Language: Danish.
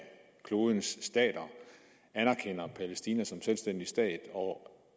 klodens stater anerkender palæstina som selvstændig stat og